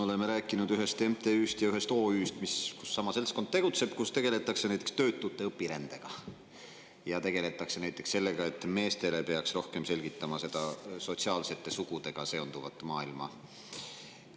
Oleme rääkinud ühest MTÜ‑st ja ühest OÜ‑st, kus sama seltskond tegutseb ja kus tegeletakse näiteks töötute õpirändega ja sellega, et meestele peaks rohkem selgitama seda sotsiaalsete sugudega seonduvat maailma.